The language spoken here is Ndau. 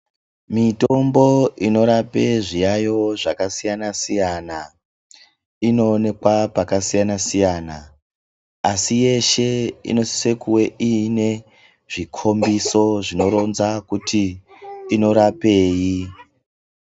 Mitombo inorape zviyaiyo zvakasiyana-siyana, inoonekwa pakasiyana-siyana, asi yeshe inosise kuve iine zvikhombiso zvinoronze kuti inorapei.